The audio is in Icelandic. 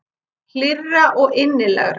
Hlýrra og innilegra.